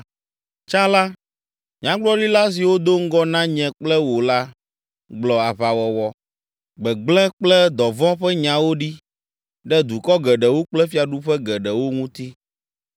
Tsã la, nyagblɔɖila siwo do ŋgɔ na nye kple wò la gblɔ aʋawɔwɔ, gbegblẽ kple dɔvɔ̃ ƒe nyawo ɖi ɖe dukɔ geɖewo kple fiaɖuƒe geɖewo ŋuti.